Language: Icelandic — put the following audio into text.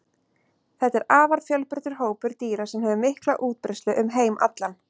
þetta er afar fjölbreyttur hópur dýra sem hefur mikla útbreiðslu um heim allan